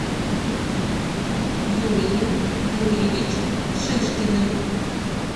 юрием юрьевичем шишкиным